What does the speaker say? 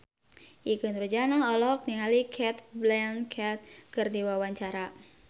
Ikke Nurjanah olohok ningali Cate Blanchett keur diwawancara